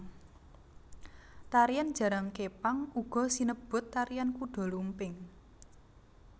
Tarian jaran kepang uga sinebut tarian kuda lumping